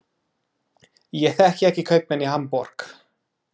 Ég þekki ekki kaupmenn í Hamborg.